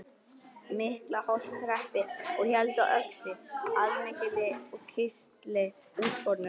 Miklaholtshreppi og héldu á öxi allmikilli og kistli útskornum.